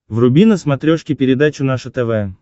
вруби на смотрешке передачу наше тв